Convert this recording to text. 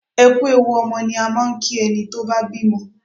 Ẹ kú ewu ọmọ ni a máa ń kí ẹni tó bá bímọ.